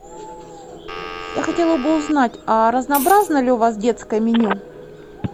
я хотела бы узнать разнообразно ли у вас детское меню